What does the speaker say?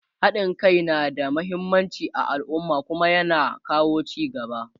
haɗin Kai na da muhimmanci a alumma Kuma ya na kawo ci gaba